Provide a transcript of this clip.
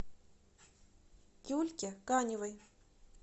юльке каневой